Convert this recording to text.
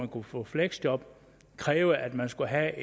kunne få et fleksjob krævede at man skulle have